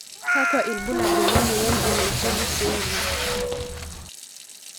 Kakwa ibulabul lemoyian e Naegeli syndrome?